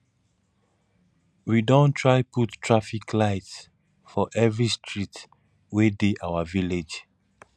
we don try put traffic lights for every street wey dey our village